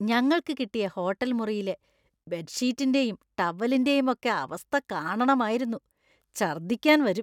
ഞങ്ങൾക്ക് കിട്ടിയ ഹോട്ടൽ മുറിയിലെ ബെഡ്ഷീറ്റിൻ്റെയും ടവലിൻ്റെയും ഒക്കെ അവസ്ഥ കാണണമായിരുന്നു; ഛര്‍ദ്ദിക്കാന്‍ വരും.